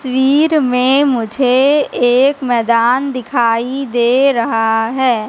स्वीर में मुझे एक मैदान दिखाई दे रहा है।